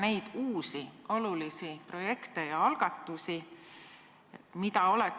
Teie kui rahvastikuministri kõige tähtsam missioon on perepoliitika edendamine ja selle saavutamine, et sündimus Eesti riigis kasvaks.